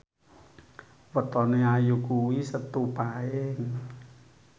wetone Ayu kuwi Setu Paing